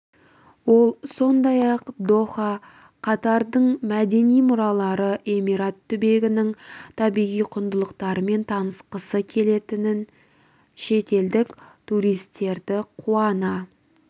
ол сондай-ақ доха катардың мәдени мұралары эмират түбегінің табиғи құндылықтарымен танысқысы келетін шетелдік туристерді қуана